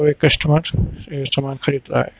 और एक कस्टमर ये सामान खरीद रहा है।